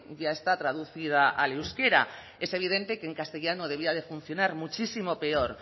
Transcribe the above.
ya está traducida al euskera es evidente que en castellano debía de funcionar muchísimo peor